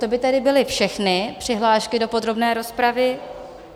To by tedy byly všechny přihlášky do podrobné rozpravy.